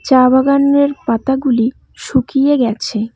চা বাগানের পাতাগুলি শুকিয়ে গেছে।